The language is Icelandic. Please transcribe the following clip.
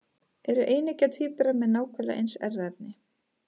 Eru eineggja tvíburar með nákvæmlega eins erfðaefni?